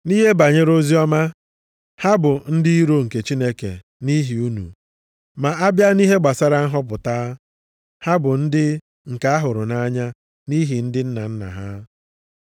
Nʼihe banyere oziọma, ha bụ ndị iro nke Chineke nʼihi unu. Ma a bịa nʼihe gbasara nhọpụta, ha bụ ndị nke a hụrụ nʼanya nʼihi ndị nna nna ha.